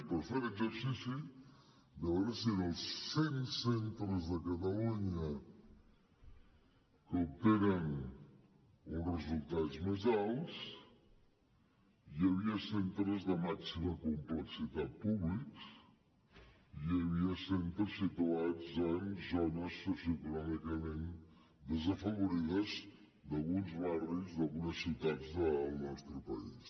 però fer un exercici de veure si en els cent centres de catalunya que obtenen uns resultats més alts hi havia centres de màxima complexitat públics i hi havia centres situats en zones socioeconòmicament desafavorides d’alguns barris d’algunes ciutats del nostre país